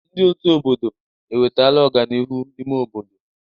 Ndị ọ̀tú obodo ewetala ọganihu n'ime obodo.